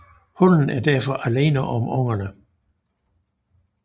Hunnen er derfor alene om ungerne